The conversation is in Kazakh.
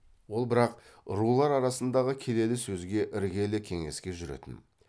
ол бірақ рулар арасындағы келелі сөзге іргелі кеңеске жүретін